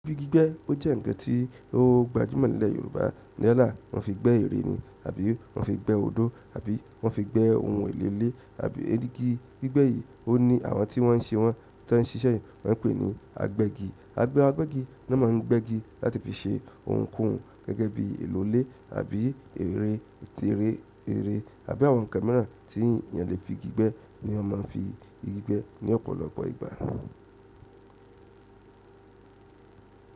Igi gbígbẹ́ ó jẹ́ ǹkan tí ó gbajúmọ̀ nílẹ̀ Yorùbá. Yálà won fi gbe ere ni àbí won fi gbe odo àbí wọn fi gbe oun elele igi gbigbe yi oni àwọn ti wọn se wọn tan sise yi ni wón pe ni agbegi. Agbẹ́gi náà máa ń gbẹ́gi láti fi ṣe ohunkóhun gẹ́gẹ́ bí i èlò ilé àbí ère, tèré, ere àbí àwọn kàmẹ́rà tí ènìyàn lè fi gbígbẹ́ ni wọ́n máa ń fi igi gbẹ́ ní ọ̀pọ̀lọpọ̀ ìgbà.